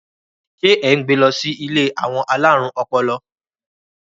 ṣe e n gbè ló si ilé àwọn alarun ọpọlọ?